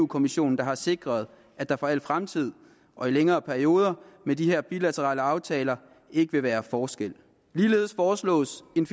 kommissionen der har sikret at der for al fremtid og i længere perioder med de her bilaterale aftaler ikke vil være forskel ligeledes foreslås en